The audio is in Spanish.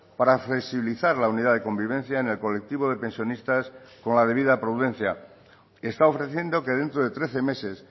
para flexibilizar la unidad de convivencia en el colectivo de pensionistas con la debida prudencia está ofreciendo que dentro de trece meses